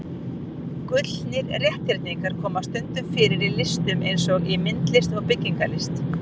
Gullnir rétthyrningar koma stundum fyrir í listum eins og í myndlist og byggingarlist.